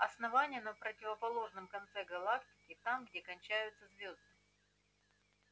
основание на противоположном конце галактики там где кончаются звёзды